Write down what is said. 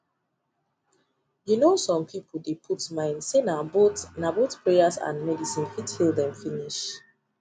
you know some people dey put mind say na both na both prayers and medicine fit heal them finish